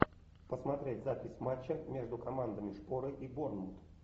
посмотреть запись матча между командами шпоры и борнмут